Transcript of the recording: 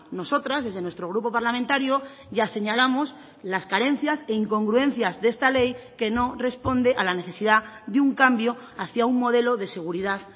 nosotras desde nuestro grupo parlamentario ya señalamos las carencias e incongruencias de esta ley que no responde a la necesidad de un cambio hacia un modelo de seguridad